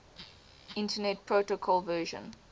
internet protocol version